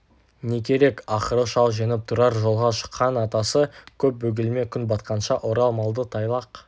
не керек ақыры шал жеңіп тұрар жолға шыққан атасы көп бөгелме күн батқанша орал малды тайлақ